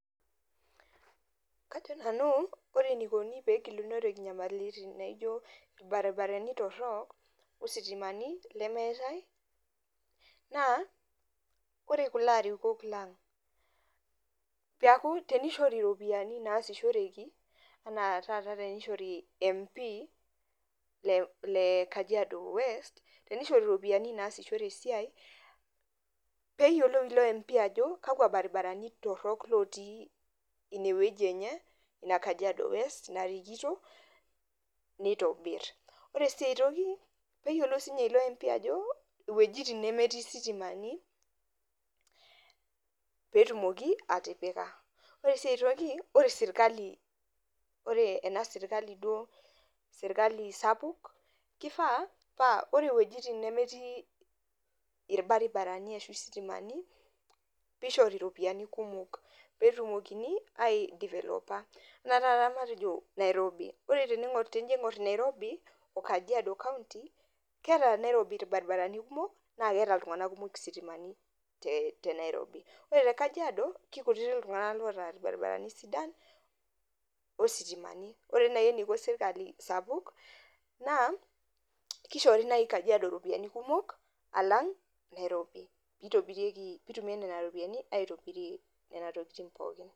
Kajo nanu ore enikoni pee egilunoreki inyamalitin nijio irbaribarani torrok ositimani lemeetae naa ore kulo arikok lang' peeku tenishore iropiyiani naasishoreki ena taata tenishori Member of Parliament lle Kajiado West nishori iropiyiani naasishore esiai pee eyiolou ilo MP ajo kakwa baribarani torrok lotii iinewueji enye ina Kajiado West narikito nitobirr, ore sii ai toki neyilou ilo MP ajo iwuejitin nemetii isitimani pee etumoki atipika ore sii ai toki ore sirkali sapuk kifaa paa ore iwuejitin nemetii irbaribarani ashu isitimani pee ishori iropiyiani kumok pee etumokini aidevelopa enaa tanakata matejo Nairobi, ore tenijo aing'orr Nairobi o Kajiado County keeta Nairobi irbaribarani kumok naa keeta iltung'anak kumok isitimani te Nairobi ore te Kajiado kekuti iltung'anak oota irbaribarani sidan ositimani, ore naai eniko sirkali sapuk naa kishori naai Kajiado iropiyiani kumok alang' Nairobi piitumiai nena ropiyiani aitobiria nena tokitin pookin.